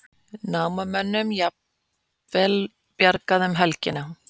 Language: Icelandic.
Námamönnum jafnvel bjargað um helgina